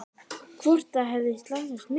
Hvort það hefði slasast mikið.